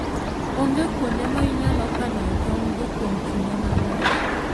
Onge kuonde ma inyalo kanoe tong'go kuom kinde malach.